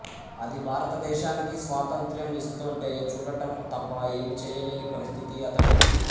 అది భారతదేశానికి స్వాతంత్ర్యం ఇస్తోంటే చూడటం తప్ప ఏమీ చేయలేని పరిస్థితి అతడిది